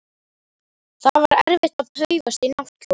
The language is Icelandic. Það var erfitt að paufast í náttkjólinn.